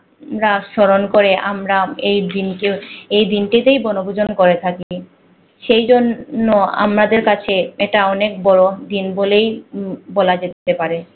আমরা সরণ করে আমরা এই দিনকে এই দিনটাতে বনভূজন করে থাকি। সেজন্য নো আমাদের কাছে এটা অনেক বড় দিন বলেই উম বলা যেতে পারে